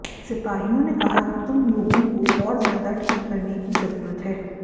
सिपाहियों ने कहा कि तुम लोगों को और ज्यादा ठीक करने की जरूरत है